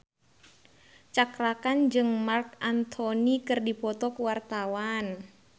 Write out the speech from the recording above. Cakra Khan jeung Marc Anthony keur dipoto ku wartawan